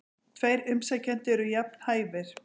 Tveir umsækjendur eru jafn hæfir.